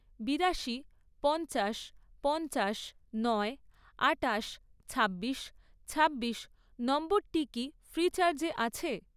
বিরাশি, পঞ্চাশ, পঞ্চাশ, নয়, আটাশ, ছাব্বিশ, ছাব্বিশ নম্বরটি কি ফ্রিচার্জে আছে?